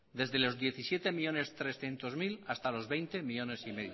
desde los diecisiete millónes trescientos mil hasta los veinte coma cinco millónes